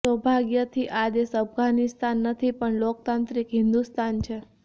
સૌભાગ્યથી આ દેશ અફઘાનિસ્તાન નથી પણ લોકત્રાંત્રિક હિંદુસ્તાન છે